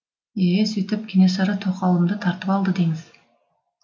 е сөйтіп кенесары тоқалымды тартып алды деңіз